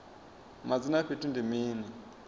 madzina a fhethu ndi mini